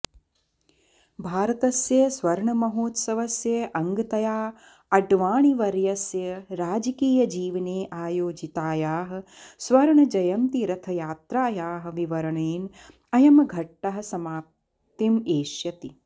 भारतस्य स्वर्णमहोतसवस्य अङ्गतया अड्वाणिवर्यस्य राजकीयजीवने आयोजितायाः स्वर्णजयन्तिरथयात्रायाः विवरणेन अयं घट्टः समाप्तिम् एष्यति